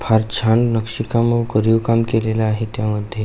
फार छान नक्षी काम कोरीव काम केलेल आहे त्या मध्ये.